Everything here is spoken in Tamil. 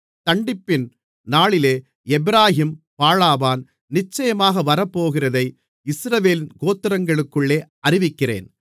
தண்டிப்பின் நாளிலே எப்பிராயீம் பாழாவான் நிச்சயமாக வரப்போகிறதை இஸ்ரவேலின் கோத்திரங்களுக்குள்ளே அறிவிக்கிறேன்